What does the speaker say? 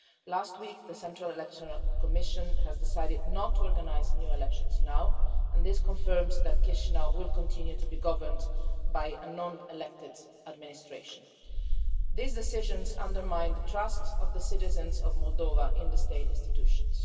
Last week, the Central Election Commission decided not to organise new elections and this confirms that Chișinău will continue to be governed by a non elected administration. These decisions undermine the trust of the citizens of Moldova in the state institutions.